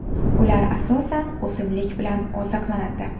Ular asosan o‘simlik bilan oziqlanadi.